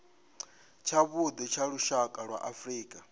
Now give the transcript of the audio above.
tshavhuḓi tsha lushaka lwa afrika